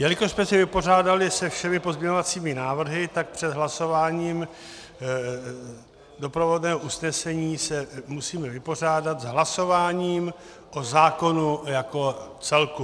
Jelikož jsme se vypořádali se všemi pozměňovacími návrhy, tak před hlasováním doprovodného usnesení se musíme vypořádat s hlasováním o zákonu jako celku.